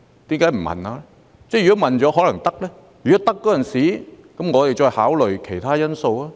如果問了，答案也許是"可以"，那麼屆時我們便可進一步考慮其他因素。